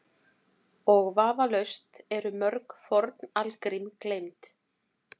Og vafalaust eru mörg forn algrím gleymd.